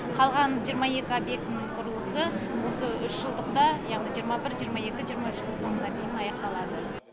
қалған жиырма екі объектінің құрылысы осы үш жылдықта яғни жиырма бір жиырма екі жиырма үштің соңына дейін аяқталады